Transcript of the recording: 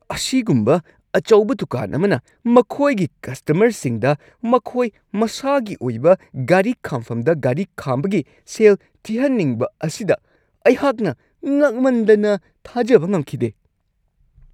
ꯑꯁꯤꯒꯨꯝꯕ ꯑꯆꯧꯕ ꯗꯨꯀꯥꯟ ꯑꯃꯅ ꯃꯈꯣꯏꯒꯤ ꯀꯁꯇꯃꯔꯁꯤꯡꯗ ꯃꯈꯣꯏ ꯃꯁꯥꯒꯤ ꯑꯣꯏꯕ ꯒꯥꯔꯤ ꯈꯥꯝꯐꯝꯗ ꯒꯥꯔꯤ ꯈꯥꯝꯕꯒꯤ ꯁꯦꯜ ꯊꯤꯍꯟꯅꯤꯡꯕ ꯑꯁꯤꯗ ꯑꯩꯍꯥꯛꯅ ꯉꯛꯃꯟꯗꯅ ꯊꯥꯖꯕ ꯉꯝꯈꯤꯗꯦ !